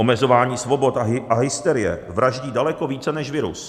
Omezování svobod a hysterie vraždí daleko více než virus.